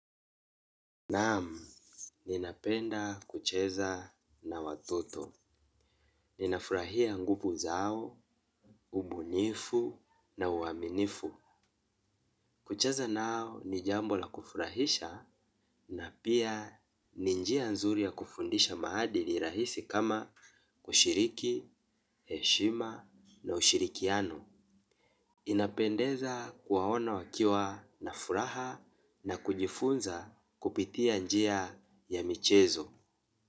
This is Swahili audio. Naamu, ninapenda kucheza na watoto. Ninafurahia nguvu zao, ubunifu na uaminifu. Kucheza nao ni jambo la kufurahisha na pia ninjia nzuri ya kufundisha maadili rahisi kama kushiriki, heshima na ushirikiano. Inapendeza kuwaona wakiwa nafuraha na kujifunza kupitia njia ya michezo.